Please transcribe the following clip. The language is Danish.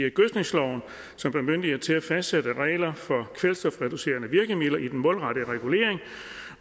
i gødskningsloven som bemyndiger ministeren til at fastsætte regler for kvælstofreducerende virkemidler i den målrettede regulering